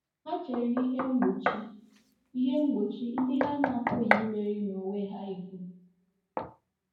Ha chere ihe mgbochi ihe mgbochi ndị ha na-apụghị imeri n'onwe ha ihu.